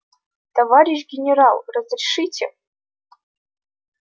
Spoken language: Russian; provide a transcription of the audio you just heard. товарищ генерал разрешите